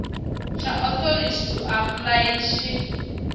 tsha authority to apply tshi